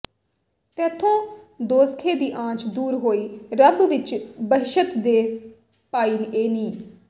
ਤੈਥੋਂ ਦੋਜ਼ਖੇ ਦੀ ਆਂਚ ਦੂਰ ਹੋਈ ਰੱਬ ਵਿੱਚ ਬਹਿਸ਼ਤ ਦੇ ਪਾਈ ਏਂ ਨੀ